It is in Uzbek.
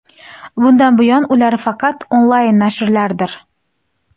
Bundan buyon ular faqat onlayn nashrlardir.